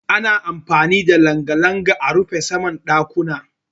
Ana amfani da langa-langa a rufe saman ɗakuna.